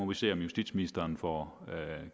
vi se om justitsministeren får